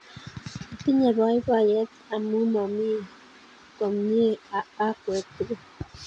Atinye poipoiyet amun omi komnye akwek tukul